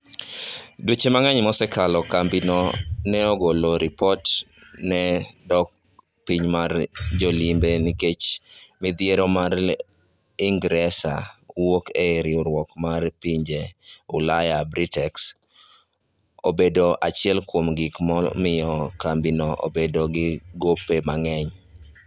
Dweche mang'eny mosakalo, kambi no ne osegolo ripot ne dok piny mar jolimbe nikech midhiero mar ingresa wuok e riwruok mar pinje ulaya(Brexit),obedo achiel kuom gik momiyo kambi no bedo gi gope mang'eny.